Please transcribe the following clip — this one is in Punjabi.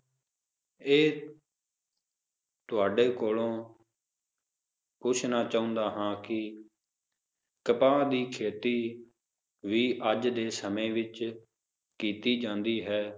ਇਹ ਤੁਹਾਡੇ ਕੋਲੋਂ ਪੁੱਛਣਾ ਚਾਹੁੰਦਾ ਹਾਂ ਕੀ ਕਪਾਹ ਦੀ ਖੇਤੀ ਵੀ ਅੱਜ ਦੇ ਸਮੇ ਵਿਚ ਕੀਤੀ ਜਾਂਦੀ ਹੈ